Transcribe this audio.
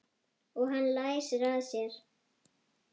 Og hann læsir að sér.